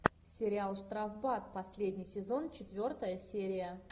сериал штрафбат последний сезон четвертая серия